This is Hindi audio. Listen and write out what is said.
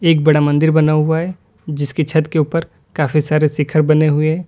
एक बड़ा मंदिर बना हुआ है जिसके छत के ऊपर काफी सारे शिखर बने हुए हैं।